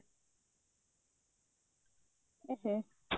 ଏହେ